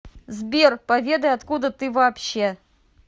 сбер поведай откуда ты вообще